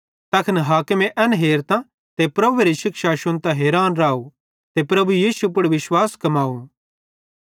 तैखन हाकिमे एन हेरतां ते प्रभुएरी शिक्षा शुन्तां हैरान राव ते प्रभु यीशु पुड़ विश्वास कमाव